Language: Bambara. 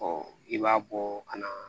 i b'a bɔ ka na